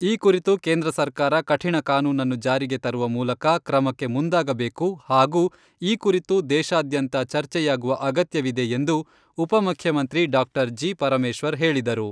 ಈ ಕುರಿತು ಕೇಂದ್ರ ಸರ್ಕಾರ ಕಠಿಣ ಕಾನೂನನ್ನು ಜಾರಿಗೆ ತರುವ ಮೂಲಕ ಕ್ರಮಕ್ಕೆ ಮುಂದಾಗಬೇಕು ಹಾಗೂ ಈ ಕುರಿತು ದೇಶಾದ್ಯಂತ ಚರ್ಚೆಯಾಗುವ ಅಗತ್ಯವಿದೆ ಎಂದು ಉಪಮುಖ್ಯಮಂತ್ರಿ ಡಾಕ್ಟರ್ ಜಿ. ಪರಮೇಶ್ವರ್ ಹೇಳಿದರು.